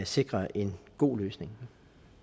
sikre en god løsning